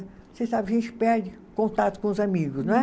Você sabe, a gente perde contato com os amigos, não é?